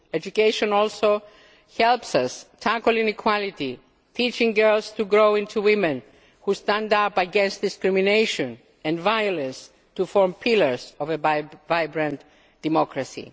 Education also helps us tackle inequality, teaching girls to grow into women who stand up against discrimination and violence to form pillars of a vibrant democracy.